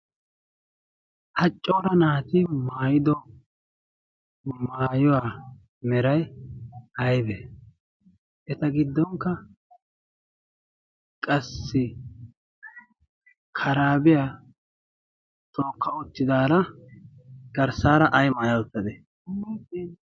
haccoora naati maayido maayuwaa meray aibe eta giddonkka qassi karaabiyaa turokka ottidaara garssaara ay maaya uttade?